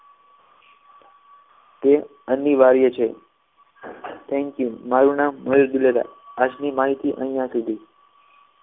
અનિવાર્ય છે thank you મારું નામ અબ્દુલ્લા આજ ની માહિતી અહીંયા સુધી